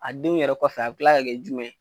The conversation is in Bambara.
A denw yɛrɛ kɔfɛ a bi kila ka kɛ jumɛn ye?